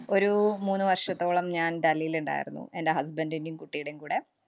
ഒരു മൂന്നുവര്‍ഷത്തോളം ഞാന്‍ ഡൽഹിലുണ്ടായിരുന്നു. എന്‍റെ husband ന്‍റേം, കുട്ടീടേം കൂടെ.